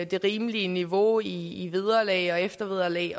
det rimelige niveau i i vederlag og eftervederlag